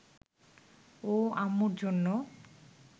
ও আম্মুর জন্য